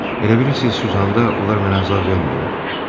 Elə bilirsiz susanda onlar mənə əzab vermir?